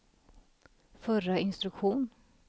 förra instruktion